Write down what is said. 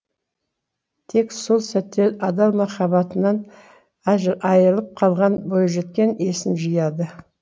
тек сол сәтте адал махаббатынан айырылып қалған бойжеткен есін жияды